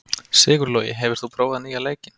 Sigurlogi, hefur þú prófað nýja leikinn?